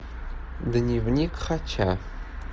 дневник хача